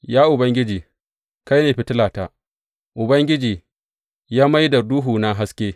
Ya Ubangiji kai ne fitilata; Ubangiji ya mai da duhuna haske.